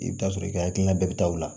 I bɛ t'a sɔrɔ i ka hakilina bɛɛ bɛ taa o la